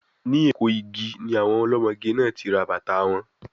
Ní Eko igi ni àwọn ọlọ́mọge náà ti rà bàtàa wọn.